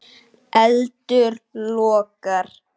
Eldur logar.